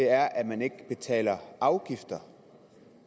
er at man ikke betaler afgifter